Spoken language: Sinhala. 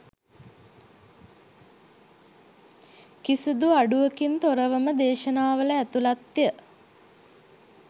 කිසිඳු අඩුවකින් තොරවම දේශනාවල ඇතුළත්ය.